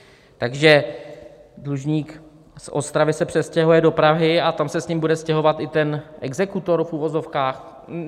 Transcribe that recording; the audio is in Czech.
Takže dlužník z Ostravy se přestěhuje do Prahy a tam se s ním bude stěhovat i ten exekutor v uvozovkách?